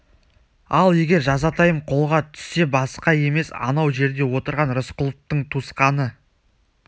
ал егер жазатайым қолға түссе басқа емес анау жерде отырған рысқұловтың туысқаны